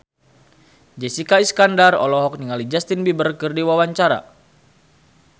Jessica Iskandar olohok ningali Justin Beiber keur diwawancara